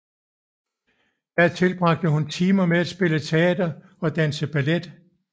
Der tilbragte hun timer med at spille teater og danse ballet